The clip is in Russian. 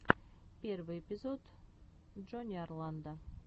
первый эпизод джонни орландо